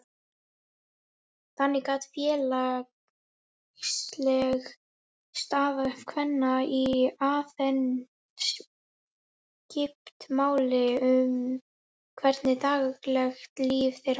Þannig gat félagsleg staða kvenna í Aþenu skipt máli um hvernig daglegt líf þeirra var.